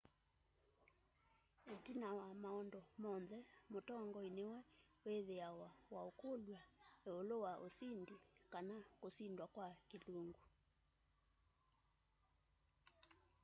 itina wa maundu monthe mutongoi niwe withiawa waukulw'a iulu wa usindi kana kusindwa kwa kilungu